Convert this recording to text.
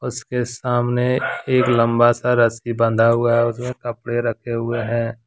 उसके सामने एक लंबा सा रस्सी बंधा हुआ है और उसमें कपड़े रखें हुए है।